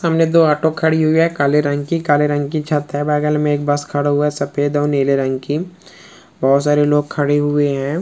सामने दो ऑटो खड़े हुई है काले रंग की काले रंग की छत है बगल में एक बस खड़े हुए है सफ़ेद और नीले रंग की बहुत सारे लोग खड़े हुए है।